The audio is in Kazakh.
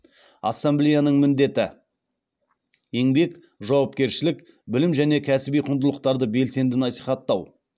ассамблеяның міндеті еңбек жауапкершілік білім және кәсіби құндылықтарды белсенді насихаттау